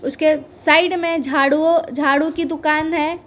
इसके साइड में झाड़ूओ-झाड़ू की दुकान है।